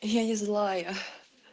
я не злая